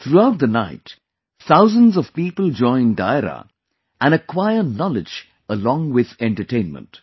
Throughout the night, thousands of people join Dairo and acquire knowledge along with entertainment